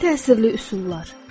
Ən təsirli üsullar.